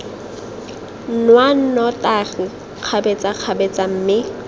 nwa nnotagi kgabetsa kgabetsa mme